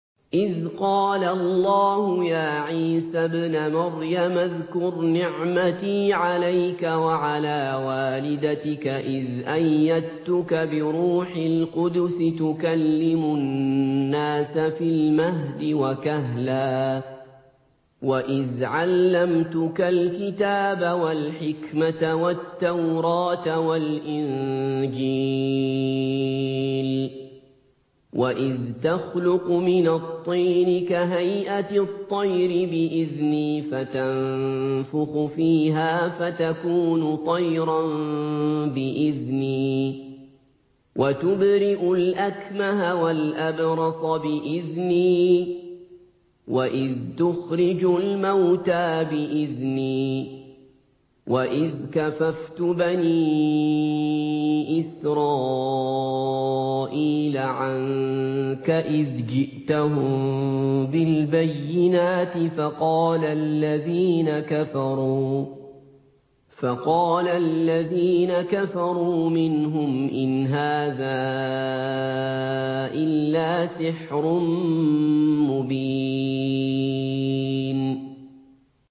إِذْ قَالَ اللَّهُ يَا عِيسَى ابْنَ مَرْيَمَ اذْكُرْ نِعْمَتِي عَلَيْكَ وَعَلَىٰ وَالِدَتِكَ إِذْ أَيَّدتُّكَ بِرُوحِ الْقُدُسِ تُكَلِّمُ النَّاسَ فِي الْمَهْدِ وَكَهْلًا ۖ وَإِذْ عَلَّمْتُكَ الْكِتَابَ وَالْحِكْمَةَ وَالتَّوْرَاةَ وَالْإِنجِيلَ ۖ وَإِذْ تَخْلُقُ مِنَ الطِّينِ كَهَيْئَةِ الطَّيْرِ بِإِذْنِي فَتَنفُخُ فِيهَا فَتَكُونُ طَيْرًا بِإِذْنِي ۖ وَتُبْرِئُ الْأَكْمَهَ وَالْأَبْرَصَ بِإِذْنِي ۖ وَإِذْ تُخْرِجُ الْمَوْتَىٰ بِإِذْنِي ۖ وَإِذْ كَفَفْتُ بَنِي إِسْرَائِيلَ عَنكَ إِذْ جِئْتَهُم بِالْبَيِّنَاتِ فَقَالَ الَّذِينَ كَفَرُوا مِنْهُمْ إِنْ هَٰذَا إِلَّا سِحْرٌ مُّبِينٌ